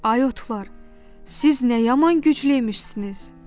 Ay otlar, siz nə yaman güclüymüşsünüz?